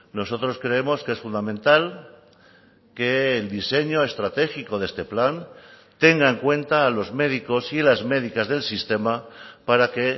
nosotros creemos que es fundamental que el diseño estratégico de este plan tenga en cuenta a los médicos y las médicas del sistema para que